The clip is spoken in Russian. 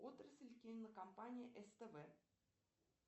отрасль кинокомпании ств